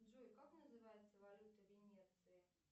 джой как называется валюта венеции